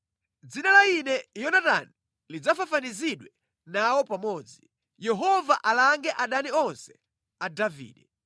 “Dzina la ine Yonatani lisadzafafanizidwe nawo pamodzi. Yehova alange adani onse a Davide.”